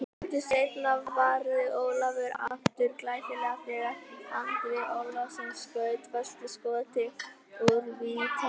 Stuttu seinna varði Ólafur aftur glæsilega þegar Andri Ólafsson skaut föstu skoti úr vítateig.